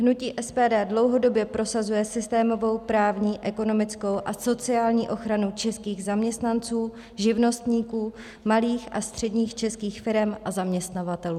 Hnutí SPD dlouhodobě prosazuje systémovou, právní, ekonomickou a sociální ochranu českých zaměstnanců, živnostníků, malých a středních českých firem a zaměstnavatelů.